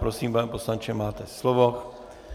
Prosím, pane poslanče, máte slovo.